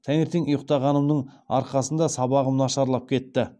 таңертең ұйықтағанымның арқасында сабағым нашарлап кетті